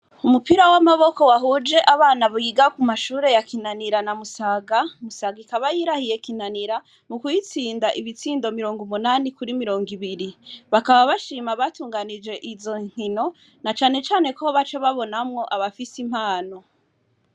Umupira w'amaboko wahuje abana buyiga ku mashure ya kinanira na musaga musaga ikaba yirahiye kinanira mu kuyitsinda ibitsindo mirongo umunani kuri mirongo ibiri bakaba bashima batunganije izo nkino na canecane kuho ba co babonamwo abafise impano.